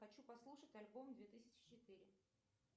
хочу послушать альбом две тысячи четыре